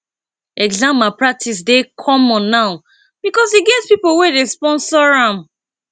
exam malpractice dey common now because e get pipo wey dey sponsor am